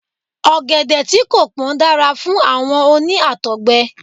Ọ̀gẹ̀dẹ̀ tí kò pón dára fún àwọn oní Àtọ̀gbẹ.